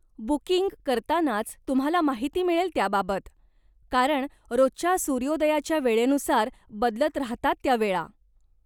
Booking करतानाच तुम्हाला माहिती मिळेल त्याबाबत, कारण रोजच्या सूर्योदयाच्या वेळेनुसार बदलत राहतात त्या वेळा.